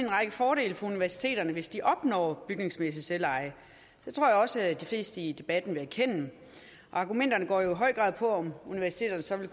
række fordele for universiteterne hvis de opnår bygningsmæssigt selveje det tror jeg også de fleste i debatten vil erkende argumenterne går i høj grad på om universiteterne så vil